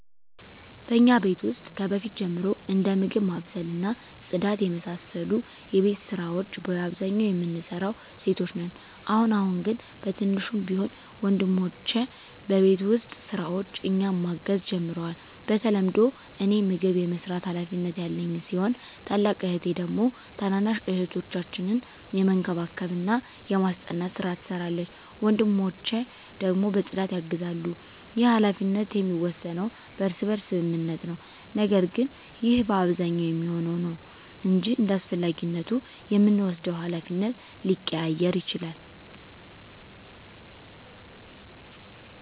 በእኛ ቤት ውስጥ ከበፊት ጀምሮ እንደ ምግብ ማብሰል እና ጽዳት የመሳሰሉ የቤት ስራወች በአብዛኛው የምንሰራው ሴቶች ነን። አሁን አሁን ግን በትንሹም ቢሆን ወንድሞቸ በቤት ውስጥ ስራዎች እኛን ማገዝ ጀምረዋል። በተለምዶ እኔ ምግብ የመስራት ሀላፊነት ያለኝ ሲሆን ታላቅ እህቴ ደግሞ ታናናሽ እህቶቻችንን የመንከባከብና የማስጠናት ስራ ትሰራለች። ወንድሞቸ ደግሞ በፅዳት ያግዛሉ። ይህ ሀላፊነት የሚወሰነው በእርስ በርስ ስምምነት ነው። ነገር ግን ይህ በአብዛኛው የሚሆነው ነው እንጅ እንዳስፈላጊነቱ የምንወስደው ሀላፊነት ሊቀያየር ይችላል።